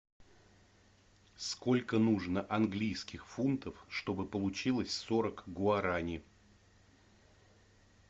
сколько нужно английских фунтов чтобы получилось сорок гуарани